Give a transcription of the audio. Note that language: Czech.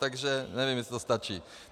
Takže nevím, jestli to stačí.